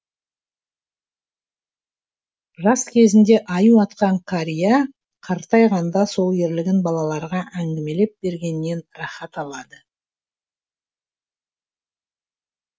жас кезінде аю атқан қария қартайғанда сол ерлігін балаларға әңгімелеп бергеннен рахат алады